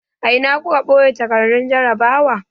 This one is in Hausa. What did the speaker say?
A ina kuka ɓoye takardun jarrabawa?